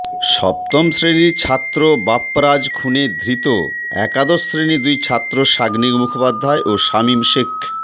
সপ্তম শ্রেণির ছাত্র বাপ্পারাজ খুনে ধৃত একাদশ শ্রেণির দুই ছাত্র সাগ্নিক মুখোপাধ্যায় ও সামিম শেখকে